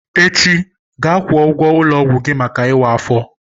Echi, gaa kwụọ ụgwọ ulo ogwu gi maka iwa afo!